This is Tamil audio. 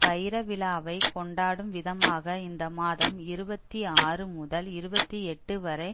வைர விழாவை கொண்டாடும் விதமாக இந்தமாதம் இருபத்தி ஆறு முதல் இருபத்தி எட்டு வரை